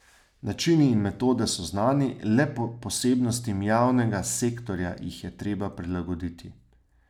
Načini in metode so znani, le posebnostim javnega sektorja jih je treba prilagoditi.